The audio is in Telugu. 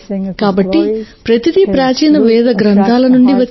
కాబట్టి ప్రతిదీ ప్రాచీన వేద గ్రంథాల నుండి వచ్చిందే